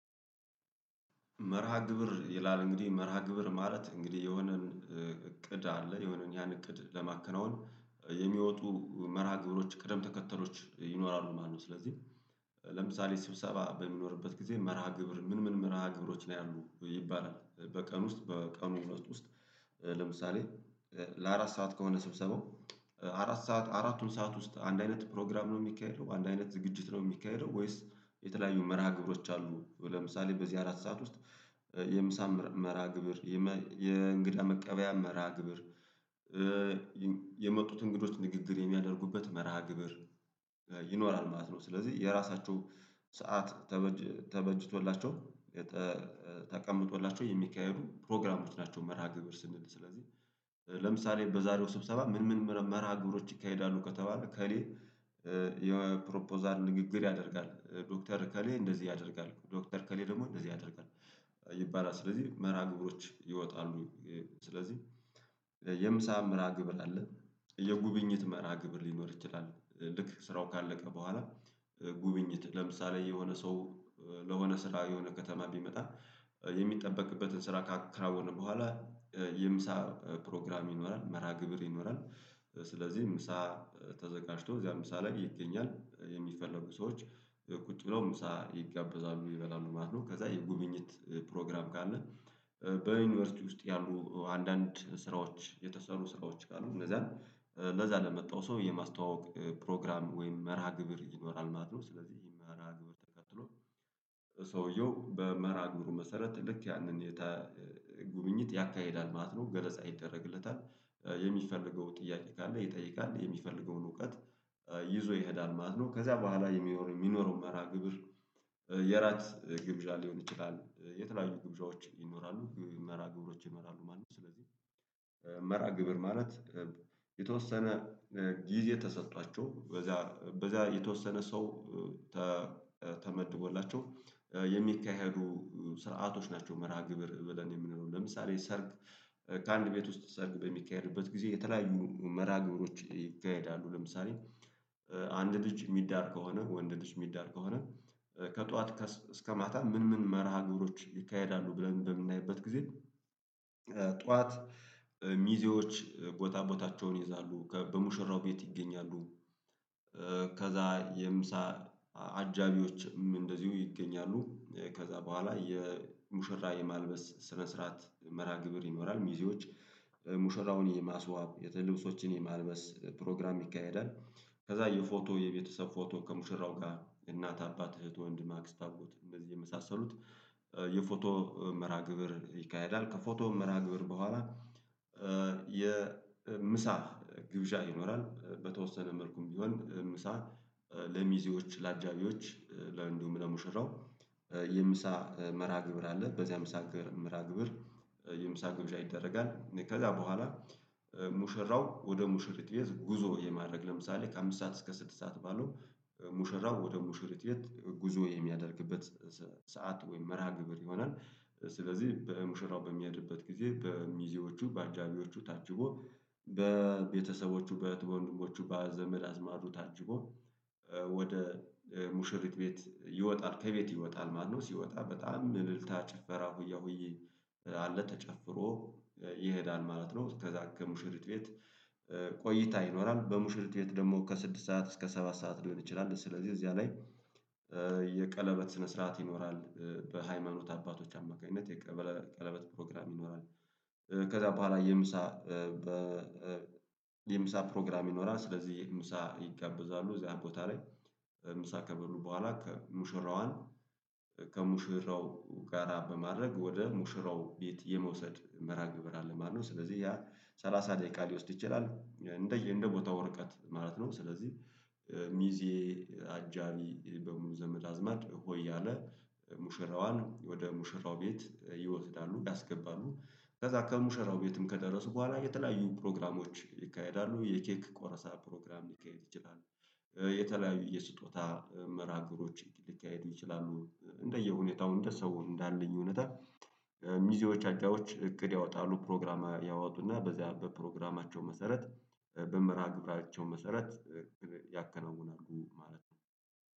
መርሃ ግብር ይላል እንግዲህ መርሃ ግብር ማለት እንግዲህ የሆነን እቅድ አለ የሆነን ያን እቅድ ለማከናወን የሚወጡ መርሃ ግብሮች ቅደም ተከተሎች ይኖራሉ። ማነው ስለዚህ ለምሳሌ ስብሰባ በሚኖርበት ጊዜ መርሃ ግብር ምን ምን መርሃ ግብሮች ላይ አሉ ይባላል። በቀን ውስጥ በቀን ውስጥ ውስጥ ለምሳሌ ለአራት ሰዓት ከሆነ ስብሰባው አራት ሰዓት አራቱን ሰዓት ውስጥ አንድ አይነት ፕሮግራም ነው የሚካሄደው አንድ አይነት ዝግጅት ነው የሚካሄደው? ወይስ የተለያዩ መርሃ ግብሮች አሉ። ለምሳሌ በዚህ አራት ሰዓት ውስጥ የምሳ መርሃ ግብር የእንግዳ መቀበያ መራ ግብር የመጡት እንግዶች ንግግር የሚያደርጉበት መርሃ ግብር ማለት ነው ስለዚህ የራሳቸው ሰዓት ተበጅቶላቸው ተቀምጦላቸው የሚካሄዱ ፕሮግራሞች ናቸው። መርሃ ግብር ስንል ስለዚህ ለምሳሌ በዛሬው ስብሰባ ምን ምን መርሃ ግብሮች ይካሄዳሉ ከተባለ? ከሌ የፕሮፖዛል ንግግር ያደርጋል ዶክተር ከሌ እንደዚህ ያደርጋል ዶክተር ከሌ ደግሞ እንደዚህ ያደርጋል ይባላል ስለዚህ መርሃ ግብሮች ይወጣሉ። ስለዚህ የምሳ ምራ ግብር አለ። የጉብኝት ምራ ግብር ሊኖር ይችላል ልክ ስራው ካለቀ በኋላ ጉብኝት ለምሳሌ የሆነ ሰው ለሆነ ስራ የሆነ ከተማ ቢመጣ የሚጠበቅበትን ስራ ካከራወነ በኋላ የምሳ ፕሮግራም ይኖራል መራ ግብር ይኖራል። ስለዚህ ምሳ ተዘጋጅቶ እዚያም ምሳ ሳላግ ይገኛል የሚፈልጉ ሰዎች ቁጭ ብለው ምሳ ይጋበዛሉ ይበላሉ ማለት ነው። ከዛ የጉብኝት ፕሮግራም ካለ በዩኒቨርሲቲ ውስጥ ያሉ አንዳንድ ስራዎች የተሰሩ ስራዎች ካሉ እንደዛ ለዛ ለመጣው ሰው የማስተዋወቅ ፕሮግራም ወይም መርሃ ግብር ይኖራል ማለት ነው። ስለዚህ ይሄ መርሃ ግብር ተከትሎ ሰውየው በመራ ንጉሩ መሰረት ልክ ያንን ጉብኝት ያካሂዳል ማለት ነው ገለጻ ይደረግለታል። የሚፈልገው ጥያቄ ካለ ይጠይቃል የሚፈልገውን እውቀት ይዞ ይሄዳል ማለት ነው። ከዛ በኋላ የሚሆነው የሚኖረው መርሃ ግብር የራት ግብዣ ሊሆን ይችላል የተለያዩ ግብዣዎች ይኖራሉ መራ ግብሮች ይኖራሉ ማለት ነው። ስለዚህ መራ ግብር ማለት የተወሰነ ጊዜ የተሰጧቸው በዛ በዛ የተወሰነ ሰው ተመድቦላቸው የሚካሄዱ ስርዓቶች ናቸው። መርሃ ግብር ብለን የምንለው ለምሳሌ ሰርግ ከአንድ ቤት ውስጥ ሰርግ በሚካሄድበት ጊዜ የተለያዩ መራ ግብሮች ይካሄዳሉ። ለምሳሌ አንድ ልጅ የሚዳር ከሆነ ወንድ ልጅ የሚዳር ከሆነ ከጧት እስከ ማታ ምን ምን መርሃ ግብሮች ይካሄዳሉ ብለን በምናይበት ጊዜ። ጠዋት ሚዜዎች ጎታ ቦታቸውን ይይዛሉ በሙሽራው ቤት ይገኛሉ። ከዛ የምሳ አጃቢዎችም እንደዚሁ ይገኛሉ ከዛ በኋላ የሙሽራ የማልበስ ስነ ስርዓት መራ ግብር ይኖራል። ሚዜዎች ሙሽራውን የማስዋብ የተለበሶችን የማልበስ ፕሮግራም ይካሄዳል። ከዛ የፎቶ የቤተሰብ ፎቶ ከሙሽራው ጋር እናት አባት እህት ወንድ ማክስ ታጎት እንደዚህ የመሳሰሉት የፎቶ መርሃ ግብር ይካሄዳል። ከፎቶ መርሃ ግብር በኋላ የምሳ ግብዣ ይኖራል። በተወሰነ መልኩም ቢሆን ምሳ ለሚዜዎች ለአጃቢዎች ለእንዲሁም ለሙሽራው የምሳ መራ ግብር አለ። በዚያም ምሳ መራ ምሳ ግብር ይደረጋል። ከዛ በኋላ ሙሽራው ወደ ሙሽሪት ቤት ጉዞ የማድረግ ለምሳሌ ከአምስት ሰዓት እስከ ስድስት ሰዓት ባለው ሙሽራው ወደ ሙሽር የት ጉዞ የሚያደርግበት ሰዓት ወይም መርሃ ግብር ይሆናል። ስለዚህ በሙሽራው በሚሄድበት ጊዜ በሚዜዎቹ በአጃቢዎቹ ታጅቦ በቤተሰቦቹ በትውልድሞቹ በዘመድ አዝማዱ ታጅቦ ወደ ሙሽሪት ቤት ይወጣል። ከቤት ይወጣል ማነው ሲወጣ በጣም እልልታ ጭፈራ ሁያ ሁዬ አለ ተጨፍሮ ይሄዳል ማለት ነው። ከዛ ከሙሽሪት ቤት ቆይታ ይኖራል በሙሽልት ቤት ደግሞ ከስድስት ሰዓት እስከ ሰባት ሰዓት ሊሆን ይችላል። ስለዚህ እዚያ ላይ የቀለበት ስነ ስርዓት ይኖራል በሃይማኖት አባቶች አማካኝነት የቀለበት ፕሮግራም ይኖራል። ከዛ በኋላ የምሳ የምሳ ፕሮግራም ይኖራል ስለዚህ የምሳ ይቀበዛሉ እዚያ ቦታ ላይ ምሳ ከበሉ በኋላ ሙሽራዋን ከሙሽራዋን ከሙሽራው ጋራ በማድረግ ወደ ሙሽራው ቤት የመውሰድ መርሃ ግብር አለ ማለት ነው። ስለዚህ ያ 30 ደቂቃ ሊወስድ ይችላል እንደየ እንደ ቦታ ወርቀት ማለት ነው። ስለዚህ ሚዜ አጃቢ በሙሉ ዘመድ አዝማድ ሆይ አለ ሙሽራዋን ወደ ሙሽራው ቤት ይወስዳሉ ያስገባሉ ከዛ ከሙሸራው ቤትም ከደረሱ በኋላ የተለያዩ ፕሮግራሞች ይካሄዳሉ የኬክ ቆረሳ ፕሮግራም ሊካሄድ ይችላል። የተለያዩ የስጦታ መራግሮች ሊካሄዱ ይችላሉ። እንደየሁኔታው እንደ ሰው እንዳለኝ እውነት ሚዜዎች አጫዎች እግድ ያወጣሉ ፕሮግራማ ያወጡና በዚህ በፕሮግራማቸው መሰረት በምራቅ ግብራቸው መሰረት ያከናውናሉ ማለት ነው።